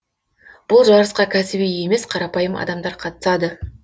бұл жарысқа кәсіби емес қарапайым адамдар қатысады